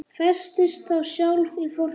Festist þá sjálf í fortíð.